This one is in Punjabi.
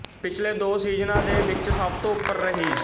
ਪਿਛਲੇ ਦੋ ਸੀਜ਼ਨਾਂ ਦੇ ਵਿੱਚ ਸਭ ਤੋਂ ਉਪਰ ਰਹੀ